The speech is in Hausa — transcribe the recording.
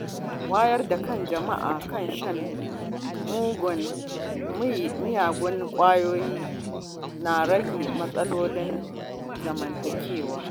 Wayar da kan jama’a kan shan miyagun ƙwayoyi na rage matsalolin zamantakewa.